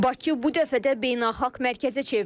Bakı bu dəfə də beynəlxalq mərkəzə çevrilib.